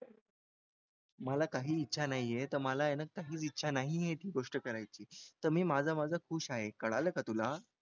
मला काही इच्छा नाही आहे तर मला आहे ना काही इच्छा नाही आहे ती गोष्ट करायची तर मी माझं माझं खुश आहे कळालं का तुला